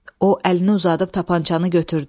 O əlini uzadıb tapançanı götürdü.